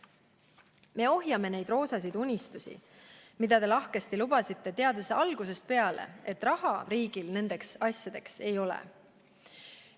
Me ohjame neid roosasid unistusi, mida te lahkesti lubasite, teades algusest peale, et raha riigil nendeks asjadeks ei ole.